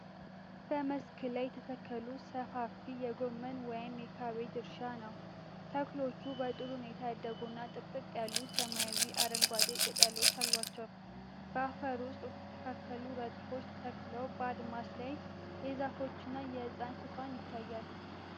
በመስክ ላይ የተተከሉ ሰፋፊ የጎመን ወይም የካቤጅ እርሻ ነው። ተክሎቹ በጥሩ ሁኔታ ያደጉና ጥቅጥቅ ያሉ ሰማያዊ አረንጓዴ ቅጠሎች አሏቸው። በአፈር ውስጥ በተስተካከሉ ረድፎች ተተክለው በአድማስ ላይ የዛፎችና የህንጻ ሽፋን ይታያል።